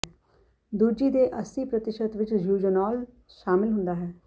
ਦੂਜੀ ਦੇ ਅੱਸੀ ਪ੍ਰਤੀਸ਼ਤ ਵਿੱਚ ਯੂਜੋਨੌਲ ਸ਼ਾਮਲ ਹੁੰਦਾ ਹੈ